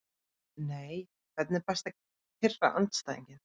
Nei Hvernig er best að pirra andstæðinginn?